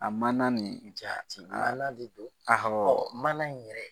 A mana nin jaati, ala de don. Ahɔ.ɔ mana in yɛrɛ.